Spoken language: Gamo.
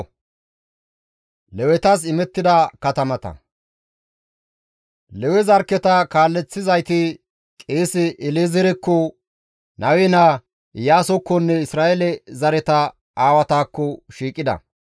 Lewe zarkketa kaaleththizayti qeese El7ezeerekko, Nawe naa Iyaasokkonne Isra7eele zareta aawatakko shiiqida.